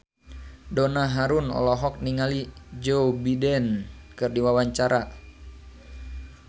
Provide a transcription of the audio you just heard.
Donna Harun olohok ningali Joe Biden keur diwawancara